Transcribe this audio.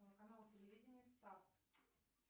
канал телевидения старт